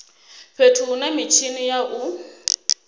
fhethu hune mitshini ya u